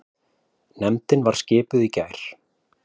Nefndin var skipuð í gær.